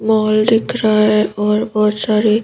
mall दिख रहा है और बहुत सारे--